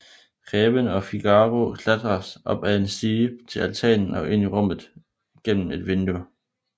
Greven og Figaro klatrer op ad en stige til altanen og ind i rummet gennem et vindue